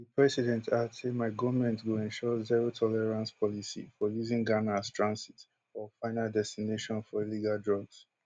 di president add say my goment go ensure zero tolerance policy for using ghana as transit or final destination for illegal drugs